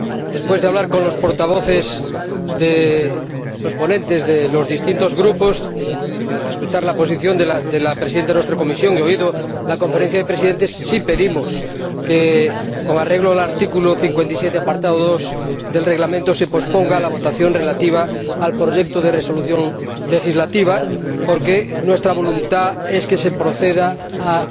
Después de hablar con los ponentes de los distintos Grupos, de escuchar la posición de la presidenta de nuestra comisión y oída la Conferencia de Presidentes, sí pedimos que, con arreglo al artículo 57, apartado 2, del Reglamento, se posponga la votación relativa al proyecto de Resolución legislativa porque nuestra voluntad es que se proceda a